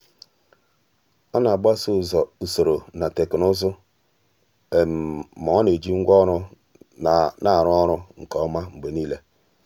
ọ́ nà-àgbásò usoro na teknụzụ mà ọ́ nà-ejì ngwa ọrụ nà-árụ́ ọ́rụ́ nke ọma mgbe nìile.